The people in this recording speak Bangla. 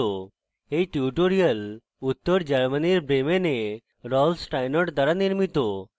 এই টিউটোরিয়াল উত্তর germany bremen rolf steinort দ্বারা নির্মিত